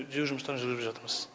түзеу жұмыстарын жүргізіп жатырмыз